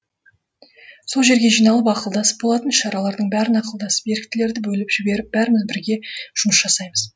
сол жерге жиналып ақылдасып болатын іс шаралардың бәрін ақылдасып еріктілерді бөліп жіберіп бәріміз бірге жұмыс жасаймыз